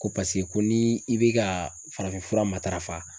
Ko paseke ko ni i be ka farafin fura matarafa